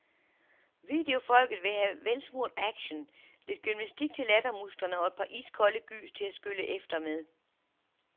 Videofolket vil have velsmurt action, lidt gymnastik til lattermusklerne og et par iskolde gys til at skylle efter med.